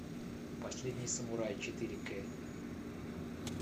последний самурай четыре к